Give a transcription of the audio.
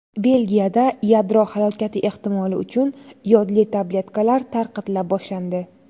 Belgiyada yadro halokati ehtimoli uchun yodli tabletkalar tarqatila boshlandi.